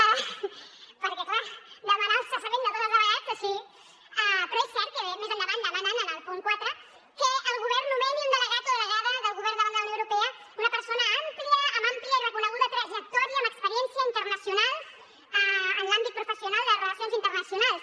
) perquè clar demanar el cessament de tots els delegats així però és cert que més endavant demanen en el punt quatre que el govern nomeni un delegat o delegada del govern davant de la unió europea una persona amb àmplia i reconeguda trajectòria amb experiència internacional en l’àmbit professional de les relacions internacionals